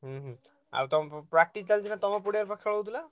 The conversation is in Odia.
ହୁଁ ହୁଁ ଆଉ ତମ practice ଚାଲିଛି ନା, ତମ ପଡିଆରେ ବା ଖେଳ ହଉଥିଲା?